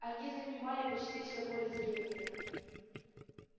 они занимали почти всё поле зрения